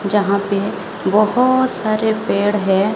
जहाँ पे बोहोत सारे पेड़ है।